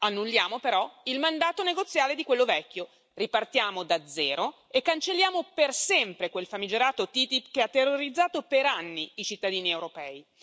Annulliamo, però, il mandato negoziale di quello vecchio, ripartiamo da zero e cancelliamo per sempre quel famigerato TTIP che ha terrorizzato per anni i cittadini europei.